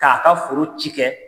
K'a ka foro ci kɛ.